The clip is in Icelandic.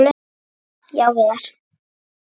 Já, Viðar.